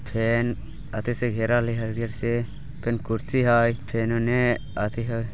फेन येथी से घेरह हई हरियर से फेन कुर्शी हई फेन उन्ने येथी --